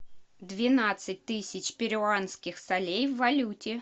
двенадцать тысяч перуанских солей в валюте